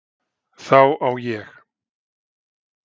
Þá á ég